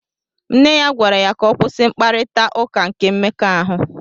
Nne ya gwara ya ka ọ kwụsị mkparita ụka nke mmekọahụ.